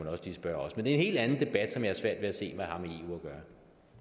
spørge os men det er en helt anden debat som jeg har svært ved at se hvad